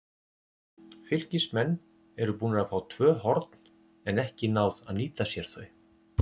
Fylkismenn eru búnir að fá tvö horn, en ekki náð að nýta sér þau.